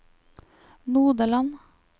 Nodeland